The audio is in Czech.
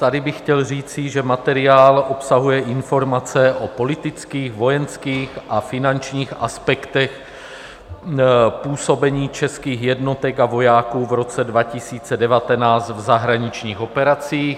Tady bych chtěl říci, že materiál obsahuje informace o politických, vojenských a finančních aspektech působení českých jednotek a vojáků v roce 2019 v zahraničních operacích.